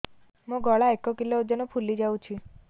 ମୋ ଗଳା ଏକ କିଲୋ ଓଜନ ଫୁଲି ଯାଉଛି